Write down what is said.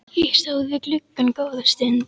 Ég stóð við gluggann góða stund.